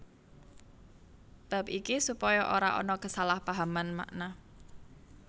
Bab iki supaya ora ana kesalahpahaman makna